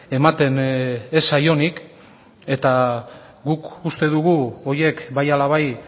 ematen ez zaionik eta guk uste dugu horiek bai ala bai